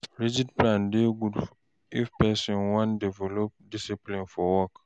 Rigid plan dey good if person wan develop discipline for work